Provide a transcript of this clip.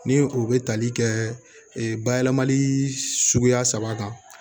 Ni o bɛ tali kɛ bayɛlɛmali suguya saba kan